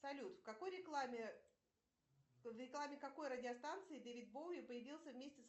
салют в какой рекламе в рекламе какой радиостанции дэвид боуи появился вместе с